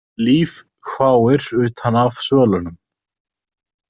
Líf hváir utan af svölunum.